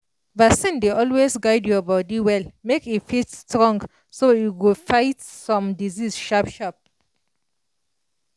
vaccine dey always guide your body well make e fit strong so e go fight some disease sharp sharp